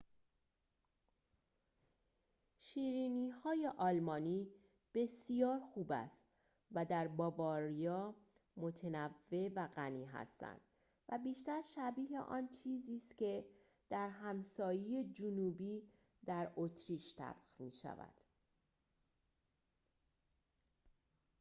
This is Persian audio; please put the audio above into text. شیرینی‌های آلمانی بسیار خوب است و در باواریا متنوع و غنی هستند و بیشتر شبیه آن چیزی است که در همسایه جنوبی در اتریش طبخ می‌شود